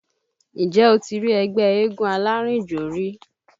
Ǹjẹ́ o ti rí ẹgbẹ́ eégún alárìnjò rí?